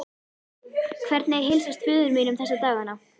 Hvernig heilsast föður mínum þessa dagana?